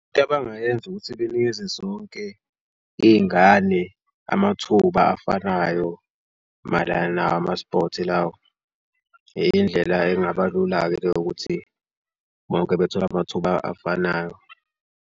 Into abangayenza ukuthi benikeze zonke iy'ngane amathuba afanayo mayelana nawo ama-sport lawo. Indlela engaba lula-ke leyo ukuthi bonke bethole amathuba afanayo.